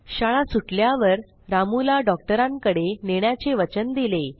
शाळा सुटल्यावर रामूला डॉक्टरांकडे नेण्याचे वचन दिले